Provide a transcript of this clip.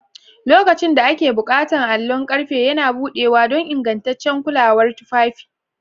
Lokacin da ake buƙata, allon ƙarfe yana buɗewa don ingantaccen kulawar tufafi.